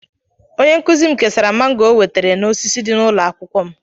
Onye nkuzi m kesara mángò o nwetara n'osisi dị n'ụlọ akwụkwọ m